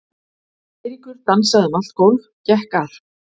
Eiríkur dansaði um allt gólf, gekk að